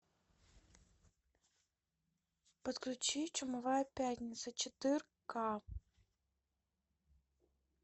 подключи чумовая пятница четырка